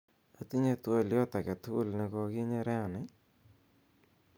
otinye twolyot agetugul negoginye rani